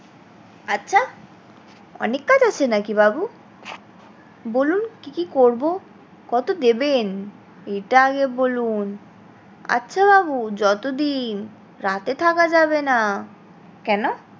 আচ্ছা অনেক কাজ আছে নাকি বাবু? বলুন কি কি করবো কত দেবেন এটা আগে বলুন? আচ্ছা বাবু যতদিন রাতে থাকা যাবে না কেন?